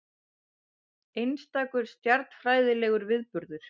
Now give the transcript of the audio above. Einstakur stjarnfræðilegur viðburður